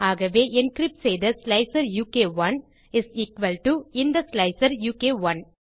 ஆகவே என்கிரிப்ட் செய்த ஸ்லைசர் உ க் 1 இஸ் எக்குவல் டோ இந்த ஸ்லைசர் உ க் 1